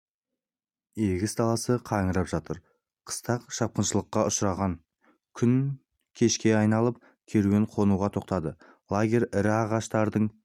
егіс даласы қаңырап жатыр қыстақ шапқыншылыққа ұшыраған күн кешке айналып керуен қонуға тоқтады лагерь ірі ағаштардың